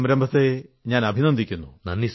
ഈ സംരംഭത്തെ അഭിനന്ദിക്കുന്നു